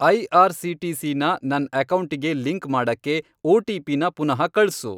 IRCTC. ನ ನನ್ ಅಕೌಂಟಿಗೆ ಲಿಂಕ್ ಮಾಡಕ್ಕೆ ಒ.ಟಿ.ಪಿ.ನ ಪುನಃ ಕಳ್ಸು.